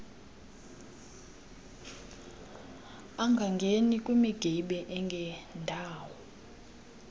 angangeni kwimigibe engendawo